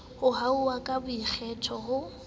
ho hanwa ka boikgetho ho